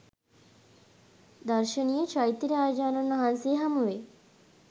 දර්ශනීය චෛත්‍ය රාජයාණන් වහන්සේ හමුවෙයි.